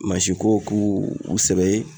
ko k'u sɛbɛ ye